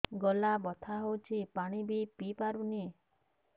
ଗଳା ବଥା ହଉଚି ପାଣି ବି ପିଇ ପାରୁନି